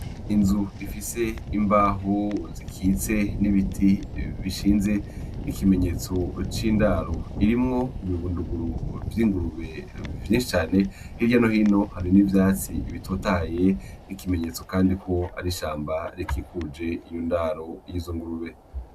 Inzu ifise imbaho zikitse n'ibiti bishinze n'ikimenyetso c'indaru irimwo ibibunduguru vy'ingurube vy'incane hirya no hino hari n'ivyatsi bitotaye n'ikimenyetso, kandi ko arishamba rikikuje iyundaro y'izo ngurube.